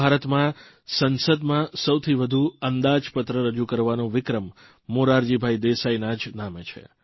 સ્વતંત્ર ભારતમાં સંસદમાં સૌથી વધુ અંદાજપત્ર રજૂ કરવાનો વિક્રમ મોરારજીભાઇ દેસાઇના જ નામે છે